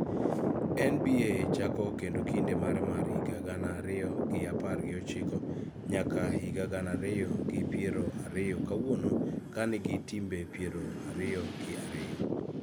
NBA chako kendo kinde mare mar higa gana ariyo gi apar gi ochiko nyaka higa gana ariyi gi piero ariyo kawuono ka nigi timbe piero ariyo gi ariyo